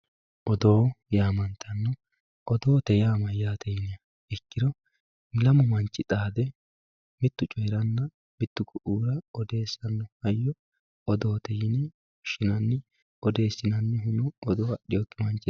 Odoo yaamantanno. Odoote yaa mayyaate yiniha ikkiro lamu manchi xaade mittu coyiranna mittu ku'iira odeessanno hayyo odoote yine woshshinanni. Odeessinannihuno odoo adhiwokki manchiraati.